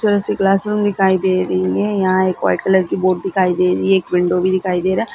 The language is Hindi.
छोटी सी क्लासरूम दिखाई दे रही है यहाँ एक व्हाइट कलर की बोर्ड दिखाई दे रही है एक विंडो भी दिखाई दे रहा।